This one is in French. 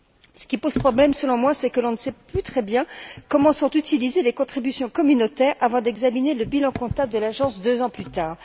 Ce qui pose problème, selon moi, c'est que l'on ne sait plus très bien comment sont utilisées les contributions communautaires avant d'examiner le bilan comptable de l'agence deux ans plus tard.